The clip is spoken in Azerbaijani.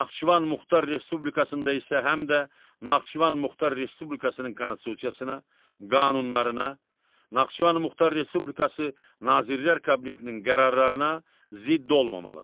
Naxçıvan Muxtar Respublikasında isə həm də Naxçıvan Muxtar Respublikasının Konstitusiyasına, qanunlarına, Naxçıvan Muxtar Respublikası Nazirlər Kabinetinin qərarlarına zidd olmamalıdır.